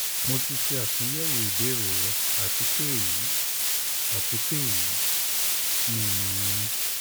mo ti ṣe atunyẹwo ibeere rẹ ati pe eyi ati pe eyi ni imọran mi